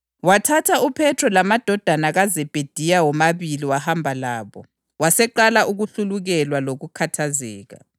UJesu wasehamba labafundi bakhe endaweni eyayithiwa yiGetsemane, wasesithi kubo, “Hlalani lapha, mina ngisaya laphayana ukuyakhuleka.”